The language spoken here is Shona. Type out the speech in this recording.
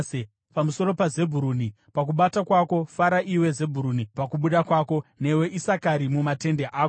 Pamusoro paZebhuruni akati: “Fara, iwe Zebhuruni, pakubuda kwako, newe Isakari mumatende ako.